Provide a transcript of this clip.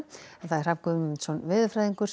Hrafn Guðmundsson veðurfræðingur